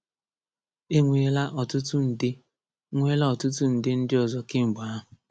E nweela ọtụtụ nde nweela ọtụtụ nde ndị ọzọ kemgbe ahụ.